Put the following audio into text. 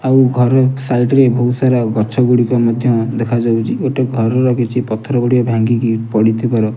ଆଉ ଘର ସାଇଡ ରେ ବହୁତ୍ ସାରା ଗଛ ଗୁଡ଼ିକ ମଧ୍ୟ ଦେଖା ଯାଉଛି ଗୋଟେ ଘରର କିଛି ପଥର ଗୁଡ଼ିଏ ଭଙ୍ଗିକି ପଡ଼ିଥିବାର --